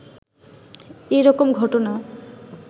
এ রকম ঘটনা